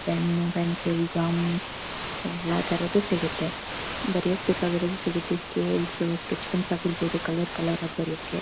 pen pencil gum ಎಲ್ಲ ತರದು ಸಿಗುತ್ತೆ ಬರಿಯಕ್ಕೆ ಬೆಕ್ಕಾಗಿದ್ದು ಸಿಗುತ್ತೆ ಸ್ಕೇಲ್ ಸ್ಕೆಚ್ ಪೆನ್ಸ್ ಆಗಿರ್ಬಹುದು ಕಲರ್ ಕಲರ್ ಆಗಿ ಬರಿಯೋಕೆ--